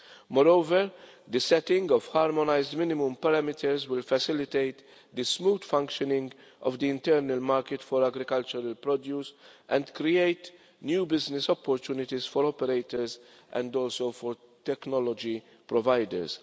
Moreover, the setting of harmonised minimum parameters will facilitate the smooth functioning of the internal market for agricultural produce and create new business opportunities for operators and also for technology providers.